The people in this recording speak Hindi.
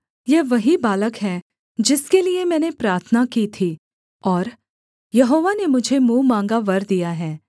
यह वही बालक है जिसके लिये मैंने प्रार्थना की थी और यहोवा ने मुझे मुँह माँगा वर दिया है